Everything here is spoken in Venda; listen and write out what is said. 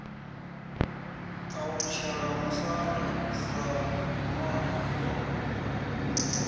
alutshela musanda sa ṋwana wa